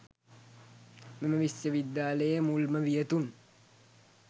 මෙම විශ්වවිද්‍යාලයේ මුල්ම වියතුන්